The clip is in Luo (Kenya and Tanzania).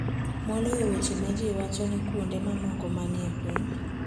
moloyo weche ma ji wacho ni kuonde mamoko manie piny,